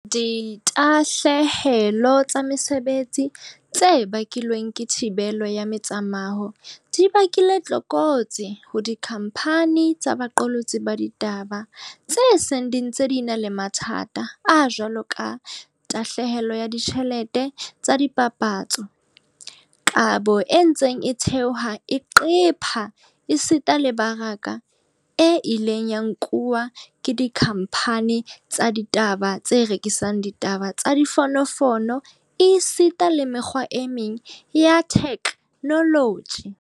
Ditahlehelo tsa mesebetsi tse bakilweng ke thibelo ya metsamao di bakile tlokotsi ho dikhamphani tsa boqolotsi ba ditaba tse seng di ntse di na le mathata a jwaloka tahlehelo ya ditjhelete tsa dipapatso, kabo e ntseng e theoha e qepha esita le me baraka e ileng ya nkuwa ke dikhamphani tsa ditaba tse rekisang ditaba ka difono fono esita le mekgwa e meng ya theknoloji.